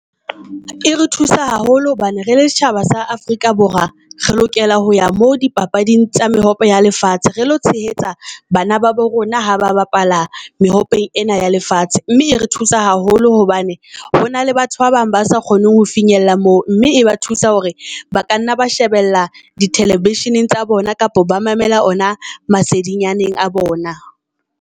E re thusa haholo hobane re le setjhaba sa Afrika Borwa re lokela ho ya mo di papading tsa mehope ya lefatshe, re lo tshehetsa bana ba bo rona ha ba bapala ena ya lefatshe. Mme e re thusa haholo hobane hona le batho ba bang ba sa kgoneng ho finyella mo, mme e ba thusa hore ba ka nna ba shebella di television tsa bona kapa ba mamela ona masedinyaneng a bona.